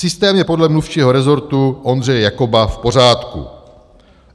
- Systém je podle mluvčího rezortu Ondřeje Jakoba v pořádku.